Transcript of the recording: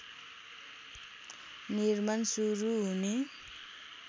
निर्माण सुरु हुने